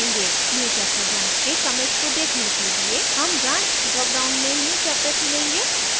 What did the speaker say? newchapter branch के commits को देखने के लिए हम branch drop down में newchapter चुनेंगे